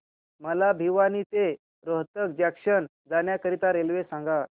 मला भिवानी ते रोहतक जंक्शन जाण्या करीता रेल्वे सांगा